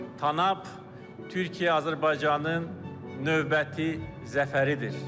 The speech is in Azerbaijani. Tanap Türkiyə-Azərbaycanın növbəti zəfəridir.